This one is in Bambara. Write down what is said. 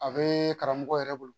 A bee karamɔgɔ yɛrɛ bolo